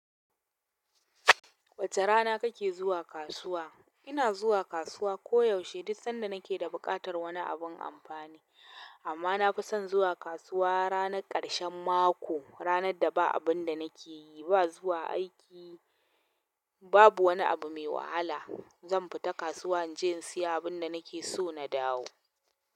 Wace rana kake zuwa kasuwa? Ina zuwa kasuwa koyaushe duk sanda nake da buƙatar wani abin amfani. Amma na fi son zuwa kasuwa ranar ƙarshen mako, ranar da ba abun da nake yi ba, zuwa aiki. Babu wani abu mai wahala. Zan fita kasuwa in je in sayi abin da nake so na dawo.